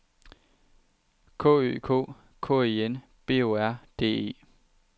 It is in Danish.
K Ø K K E N B O R D E